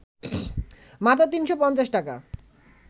মাত্র ৩৫০ টাকা